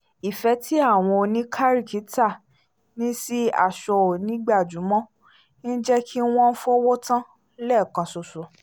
ifẹ̀ tí àwọn oníkaárìkítà ní sí aṣọ onígbajúmọ̀ ń jẹ́ kí wọ́n fowó tán lẹ́ẹ̀kanṣoṣo